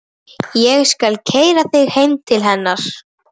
Ég skal keyra þig heim til hennar.